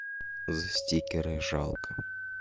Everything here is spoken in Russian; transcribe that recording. за стикеры жалко